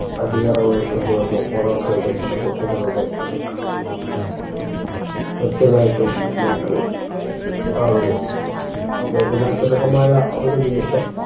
അടിയറവ് വെക്കേണ്ടി വന്നു മൊറോക്കയുടെ ചുണകുട്ടികളുടെ അടുക്ക് തീർച്ചയായിട്ടും നമ്മുക്ക് ആ ഒരു വേദനാജനകമായ ഒരു നിമിഷം